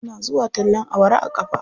Tana zuwa tallen awara a ƙafa.